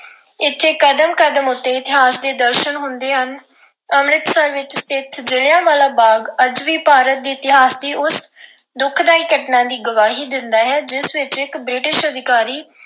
ਇਥੇ ਕਦਮ ਕਦਮ ਉੱਤੇ ਇਤਿਹਾਸ ਦੇ ਦਰਸ਼ਨ ਹੁੰਦੇ ਹਨ। ਅੰਮ੍ਰਿਤਸਰ ਵਿੱਚ ਸਥਿਤ ਜਲ੍ਹਿਆਂਵਾਲਾ ਬਾਗ ਅੱਜ ਵੀ ਪੰਜਾਬ ਦੇ ਇਤਿਹਾਸ ਦੀ ਉਸ ਦੁਖਦਾਈ ਘਟਨਾ ਦੀ ਗਵਾਹੀ ਦਿੰਦਾ ਹੈ, ਜਿਸ ਵਿੱਚ ਇੱਕ British ਅਧਿਕਾਰੀ